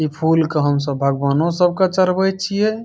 ई फूल क हमसब भगवानो सब क चढबइ छियइ।